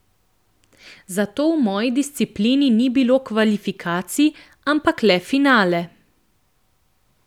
Zato v moji disciplini ni bilo kvalifikacij, ampak le finale.